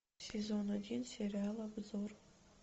сезон один сериал обзор